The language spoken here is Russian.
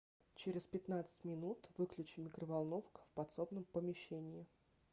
через пятнадцать минут выключи микроволновка в подсобном помещении